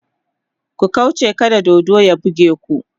ku kauche kada dodon ya buge ku!